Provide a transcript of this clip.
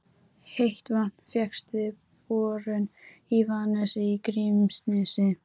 Heitt vatn fékkst við borun í Vaðnesi í Grímsnesi.